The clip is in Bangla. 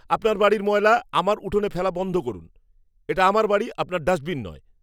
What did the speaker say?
আপনার বাড়ির ময়লা আমার উঠানে ফেলা বন্ধ করুন। এটা আমার বাড়ি, আপনার ডাস্টবিন নয়!